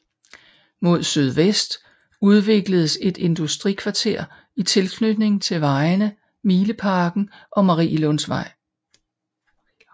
Mod sydvest udvikledes et industrikvarter i tilknytning til vejene Mileparken og Marielundvej